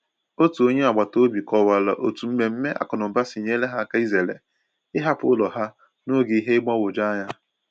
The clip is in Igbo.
Otu onye agbata obi kọwara otu mmemme akụnụba si nyere ha áká izere ịhapụ ụlọ ha n’oge ihe mgbagwoju anya.